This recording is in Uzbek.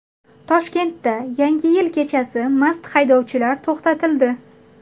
Toshkentda Yangi yil kechasi mast haydovchilar to‘xtatildi.